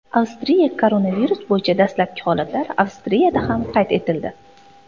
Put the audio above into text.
Avstriya Koronavirus bo‘yicha dastlabki holatlar Avstriyada ham qayd etildi .